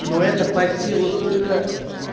ну это под силу только